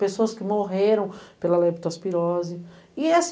Pessoas que morreram pela leptospirose.